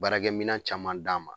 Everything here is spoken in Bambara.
Baarakɛminɛn caman d'an ma